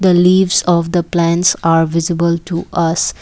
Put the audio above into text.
the leaves of the plants are visible to us.